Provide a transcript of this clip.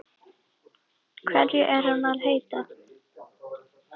Hverju er hann að heita?